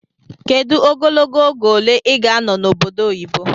Kedu ogologo oge iga anọ na obodo oyibo?